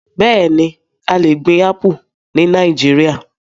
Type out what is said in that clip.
Bẹẹni, a le gbin Apu ni Nàìjíríà